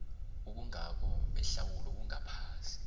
ubungako behlawulo bungaphasi